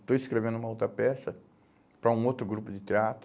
Estou escrevendo uma outra peça para um outro grupo de teatro,